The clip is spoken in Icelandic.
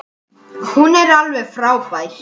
Hún er alveg frábær.